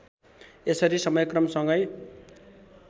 यसरी समयक्रम सँगै